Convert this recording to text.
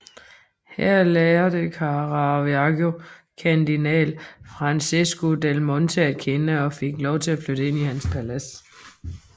Her lærte Caravaggio kardinal Francesco del Monte at kende og fik lov at flytte ind i hans palads